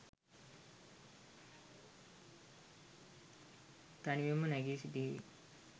තනියම නැගි සිටිව්!